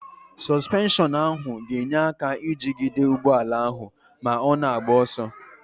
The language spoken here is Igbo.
Sọsụpenshọnụ ahụ ga-enye aka ijigide ụgbọala ahụ ma ọ na-agba ọsọ.